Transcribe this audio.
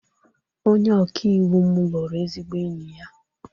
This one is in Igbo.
Onye ọkaiwu m lụrụ ezigbo enyi ya